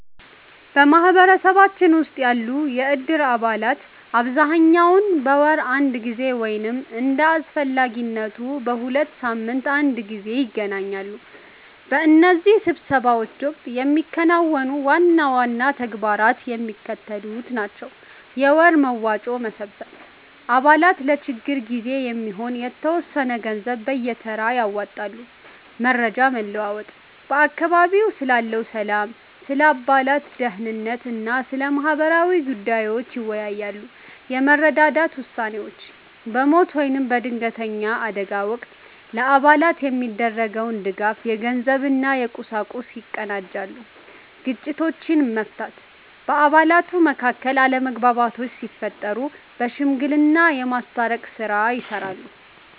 በማኅበረሰባችን ውስጥ ያሉ የእድር አባላት በአብዛኛው በወር አንድ ጊዜ ወይም እንደ አስፈላጊነቱ በሁለት ሳምንት አንድ ጊዜ ይገናኛሉ። በእነዚህ ስብሰባዎች ወቅት የሚከናወኑ ዋና ዋና ተግባራት የሚከተሉት ናቸው፦ የወር መዋጮ መሰብሰብ፦ አባላት ለችግር ጊዜ የሚሆን የተወሰነ ገንዘብ በየተራ ያዋጣሉ። መረጃ መለዋወጥ፦ በአካባቢው ስላለው ሰላም፣ ስለ አባላት ደኅንነት እና ስለ ማህበራዊ ጉዳዮች ይወያያሉ። የመረዳዳት ውሳኔዎች፦ በሞት ወይም በድንገተኛ አደጋ ወቅት ለአባላት የሚደረገውን ድጋፍ (የገንዘብ እና የቁሳቁስ) ያቀናጃሉ። ግጭቶችን መፍታት፦ በአባላት መካከል አለመግባባቶች ሲፈጠሩ በሽምግልና የማስታረቅ ሥራ ይሠራሉ።